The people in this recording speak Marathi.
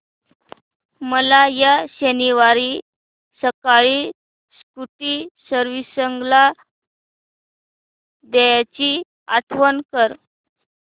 मला या शनिवारी सकाळी स्कूटी सर्व्हिसिंगला द्यायची आठवण कर